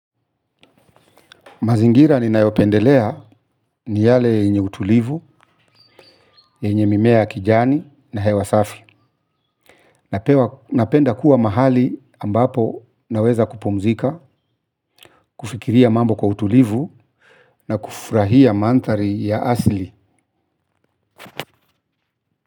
Mazingira ni nayopendelea, ni yale yenye utulivu, yenye mimea ya kijani na hewasafi. Napenda kuwa mahali, ambapo naweza kupumzika, kufikiria mambo kwa utulivu na kufurahia manthari ya asili.